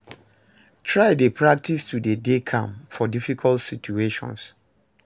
Try de practice to de dey calm for difficult situations